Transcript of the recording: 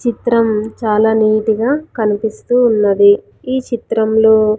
చిత్రం చాలా నీట్ గా కనిపిస్తూ ఉన్నది ఈ చిత్రంలో.